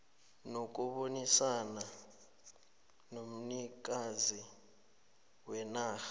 nokubonisana nomnikazi wenarha